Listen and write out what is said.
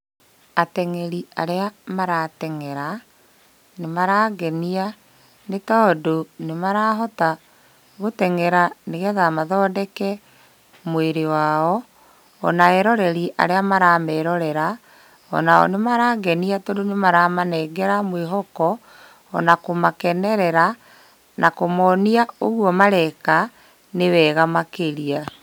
Ateng'eri arĩa marateng'era nĩmarangenia nĩ tondũ nĩmarahota gũteng'era nĩgetha mathondeke mwĩrĩ wao. Ona eroreri arĩa maramerorera onao nĩmarangenia tondũ nĩmaramanengera mwĩhoko ona kũmakenerera na kũmonia ũguo mareka nĩ wega makĩria.